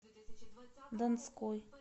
донской